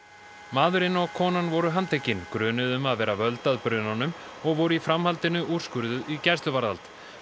maðurinn og konan voru handtekin grunuð um að vera völd að brunanum og voru í framhaldinu úrskurðuð í gæsluvarðhald